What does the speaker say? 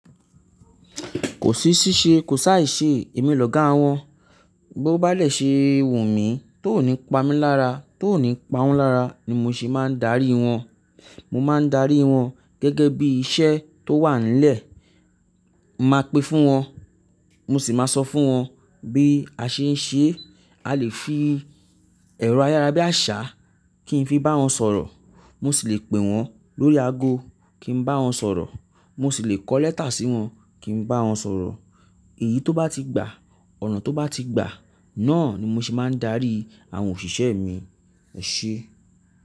Kò sí ṣíṣe, kò sì á i ṣe èmi lọ̀gá wọn. Bí ó bá dè ṣe wù mí, ti ò ní pa mí lára, tó ò ní pa wọ́n lára ni mo ṣe máa ń darí wọn. Mo máa ń darí wọn gẹ́gẹ́ bí iṣẹ́ tó wà nílẹ̀. Máa pin fún wọn, mo sì máa sọ fún wọn bí a ṣe ń ṣe. A lè fi ẹ̀rọ ayárabíàṣá kí n fi bá wọn sọ̀rọ̀, mo sì lè pè wọ́n lórí ago kí n bá wọn sọ̀rọ̀, mo sì lè kọ lẹ́tà sí wọn kí n bá wọn sọ̀rọ̀. Èyí tó bá ti gbà, ọ̀nà tó bá ti gbà, náà ni mo ṣe máa ń darí àwọn òṣìṣẹ́ mi. Ẹ ṣé.